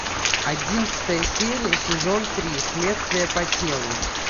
одиннадцатая серия сезон три следствие по телу